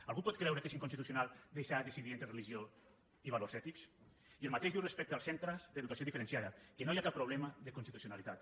algú pot creure que és inconstitucional deixar decidir entre religió i valors ètics i el mateix diu respecte als centres d’educació diferenciada que no hi ha cap problema de constitucionalitat